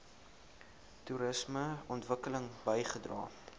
toerisme ontwikkeling bygedra